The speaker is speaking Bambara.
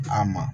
An ma